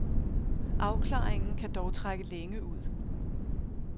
Afklaringen kan dog trække længe ud.